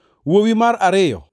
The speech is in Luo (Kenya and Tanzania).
Wuowi mar ariyo